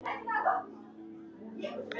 Aðrir voru fjarri sínu besta.